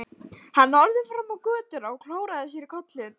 Hann horfði fram á götuna og klóraði sér í kollinum.